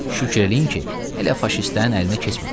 Şükür eləyin ki, hələ faşistlərin əlinə keçməmisiz.